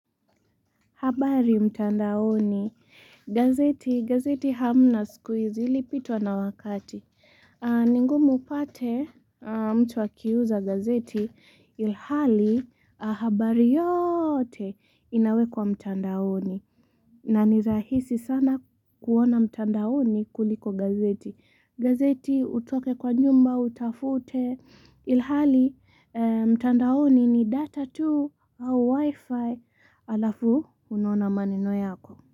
Habari mtandaoni. Gazeti, gazeti hamna sikuhizi ilipitwa na wakati. Ningumu upate mtu akiuza gazeti ilhali habari yote inawekwa mtandaoni. Na nirahisi sana kuona mtandaoni kuliko gazeti. Gazeti utoke kwa nyumba, utafute ilhali mtandaoni ni data tu au wifi. Alafu unaona maneno yako.